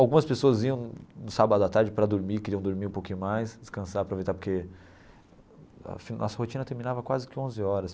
Algumas pessoas iam no sábado à tarde para dormir, queriam dormir um pouquinho mais, descansar, aproveitar, porque a nossa rotina terminava quase que onze horas.